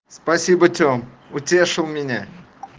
спасибо тем утешил меня